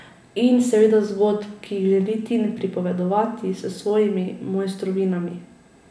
In seveda zgodb, ki jih želi Tin pripovedovati s svojimi mojstrovinami.